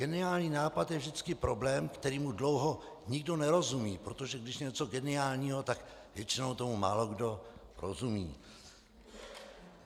Geniální nápad je vždycky problém, kterému dlouho nikdo nerozumí, protože když je něco geniálního, tak většinou tomu málokdo rozumí.